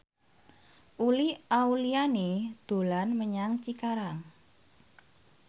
Uli Auliani dolan menyang Cikarang